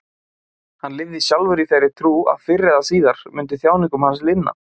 Hann lifði sjálfur í þeirri trú að fyrr eða síðar myndi þjáningum hans linna.